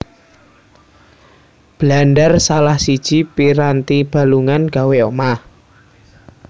Blandar salah siji piranti balungan gawé omah